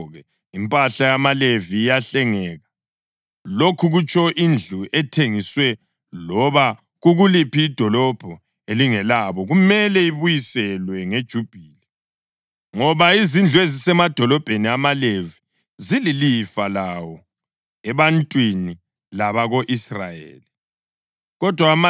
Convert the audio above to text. Ngakho-ke, impahla yamaLevi iyahlengeka, lokhu kutsho indlu ethengiswe loba kukuliphi idolobho elingelabo, kumele ibuyiselwe ngeJubhili, ngoba izindlu ezisemadolobheni amaLevi zililifa lawo ebantwini labako-Israyeli.